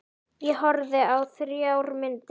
Ég horfði á þrjár myndir.